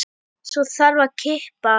Svo þarf að kippa.